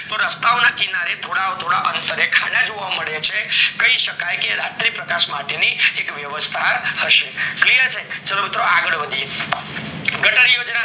તો રસ્તાઓ ના કિનારે થોડા થોડા અંતર એ ખાના જોવા મળે છે જેના કરને કય શકાય કે રાત્રે પ્રકાશ ની એક વ્યવસ્થા હયસે clear છે ચાલો મિત્રો આગળ વધીએ ગટર યોજના